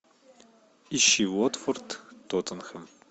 ищи уотфорд тоттенхэм